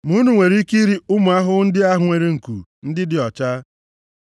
Ma unu nwere ike iri ụmụ ahụhụ ndị ahụ nwere nku, ndị dị ọcha.